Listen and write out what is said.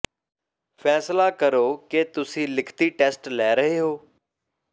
ਫੈਸਲਾ ਕਰੋ ਕਿ ਤੁਸੀਂ ਲਿਖਤੀ ਟੈਸਟ ਲੈ ਰਹੇ ਹੋ